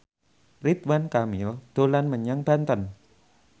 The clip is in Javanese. Ridwan Kamil dolan menyang Banten